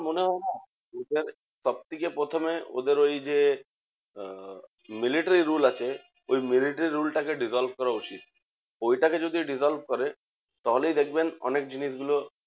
মনে হয় না সব থেকে প্রথমে ওদের ওই যে আহ military rule আছে, ওই military rule টা কে dissolve করা উচিত। ঐটাকে যদি dissolve করে তাহলেই দেখবেন অনেক জিনিসগুলো